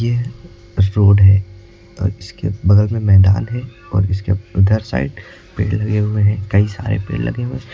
ये बस रोड है और इसके बगल में मैदान है और इसके उधर साइड पेड़ लगे हुए हैं कई सारे पेड़ लगे हैं।